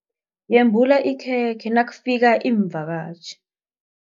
Yembula ikhekhe nakufika iimvakatjhi.